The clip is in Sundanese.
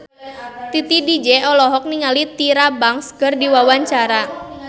Titi DJ olohok ningali Tyra Banks keur diwawancara